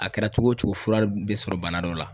A kɛra cogo o cogo fura bɛ sɔrɔ bana dɔ la.